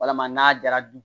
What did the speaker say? Walama n'a jara